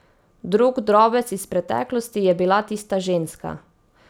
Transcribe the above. Drug drobec iz preteklosti je bila tista ženska.